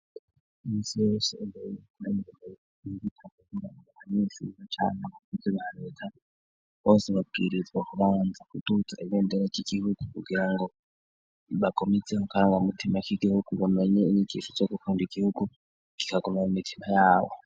Imsiyosegeeigikuramukika kukungangaga kamensuza cane abakuzi bahareta bose babwiririzwa kubanza kuduta igendera ry'igihugu kugira ngo bagoma izeho karanga mutima k'igihugu bamenye inkikisho co gukunda igihugu gikagumaa mu mitima yawo.